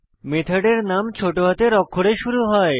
মেথডের নাম ছোট হাতের অক্ষরে শুরু হয়